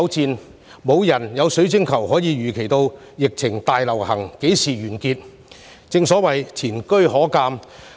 雖然我們沒有水晶球預測疫情何時完結，但前車可鑒。